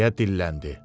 deyə dilləndi.